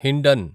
Hindon